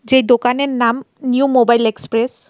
যে দোকানের নাম নিউ মোবাইল এক্সপ্রেস .